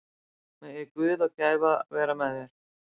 Megi Guð og gæfa vera með þér.